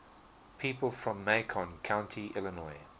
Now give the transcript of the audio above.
people from macon county illinois